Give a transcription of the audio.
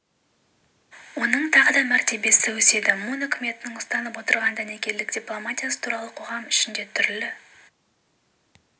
оның тағы да мәртебесі өседі мун үкіметінің ұстанып отырған дәнекерлік дипломатиясы туралы қоғам ішінде түрлі